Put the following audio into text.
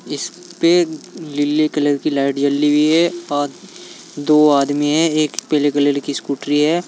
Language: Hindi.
इसपे लिले कलर की लाइट जली हुई है और दो आदमी है एक पीले कलर की स्कूटी है।